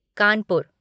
Kanpur